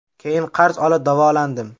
Keyin qarz olib davolandim.